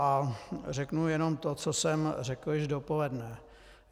A řeknu jenom to, co jsem řekl již dopoledne.